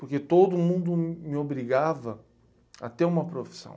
Porque todo mundo me obrigava a ter uma profissão.